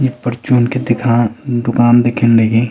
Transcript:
यु परचून की दीखान दूकान दिखेंण लगीं।